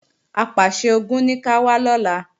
Apàṣẹ-Ogun ní ká wá lọ́la